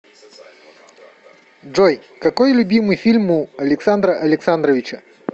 джой какой любимый фильм у александра александровича